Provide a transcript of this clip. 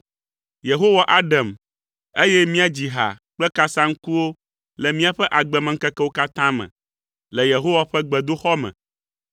Yehowa aɖem, eye míadzi ha kple kasaŋkuwo le míaƒe agbemeŋkekewo katã me, le Yehowa ƒe gbedoxɔ me.